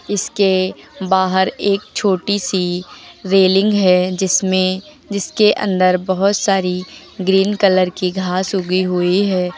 इसके बाहर एक छोटी सी रेलिंग है जिसमें जिसके अंदर बहुत सारी ग्रीन कलर की घास उगी हुई है।